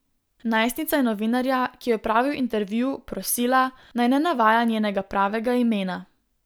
Najstnica je novinarja, ki je opravil intervju, prosila, naj ne navaja njenega pravega imena.